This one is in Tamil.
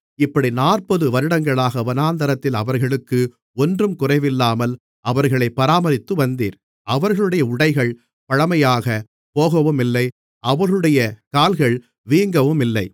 இப்படி நாற்பது வருடங்களாக வனாந்திரத்தில் அவர்களுக்கு ஒன்றும் குறைவில்லாமல் அவர்களைப் பராமரித்துவந்தீர் அவர்களுடைய உடைகள் பழமையாகப் போகவுமில்லை அவர்களுடைய கால்கள் வீங்கவுமில்லை